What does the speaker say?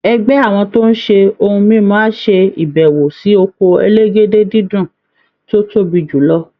Ẹgbẹ́ àwọn tó ń ṣe ohun mímu á ṣe ìbẹ̀wò sí oko elégédé-dídùn tó tóbi jù lọ